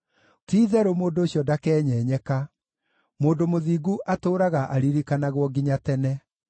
Ti-itherũ mũndũ ũcio ndakenyenyeka; mũndũ mũthingu atũũraga aririkanagwo nginya tene.